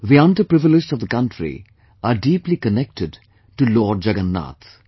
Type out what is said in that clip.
The underprivileged of the country are deeply connected to Lord Jagannath